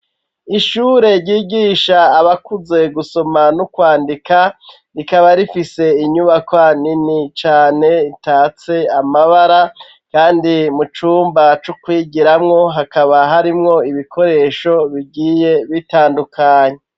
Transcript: Ishure ryigisha abakuze gusoma no kwandika, rikaba rifise inyubakwa nini cane itatse amabara, kandi mu cumba co kwigiramwo hakaba harimwo ibikoresho bigiye bitandukanye.